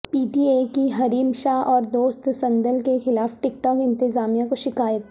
پی T اےکی Hareem Shah اوردوست صندل کیخلاف ٹک ٹاک انتظامیہ کوشکایت